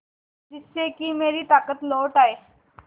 जिससे कि मेरी ताकत लौट आये